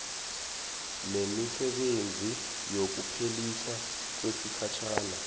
nemisebenzi yokuphelisa kwesikhatjhana